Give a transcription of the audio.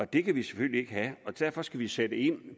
det kan vi selvfølgelig ikke have derfor skal vi sætte ind